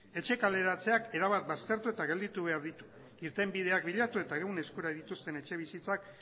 etxe kaleratzeak erabat baztertu eta gelditu behar ditu irtenbideak bilatu eta egun eskura dituzten etxebizitzak